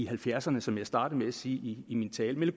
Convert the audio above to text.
halvfjerdserne som jeg startede sige i min tale